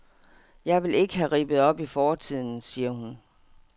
Jeg vil ikke ha rippet op i fortiden, siger hun.